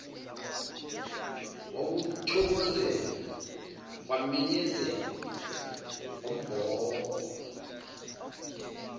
wawuthokozela kwamenyezelwa ngombhobho